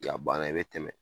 banna i bɛ tɛmɛ